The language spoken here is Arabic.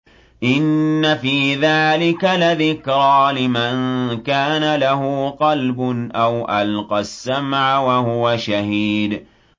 إِنَّ فِي ذَٰلِكَ لَذِكْرَىٰ لِمَن كَانَ لَهُ قَلْبٌ أَوْ أَلْقَى السَّمْعَ وَهُوَ شَهِيدٌ